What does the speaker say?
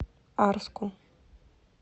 арску